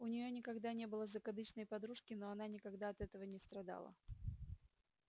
у нее никогда не было закадычной подружки но она никогда от этого не страдала